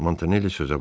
Montanelli sözə başladı.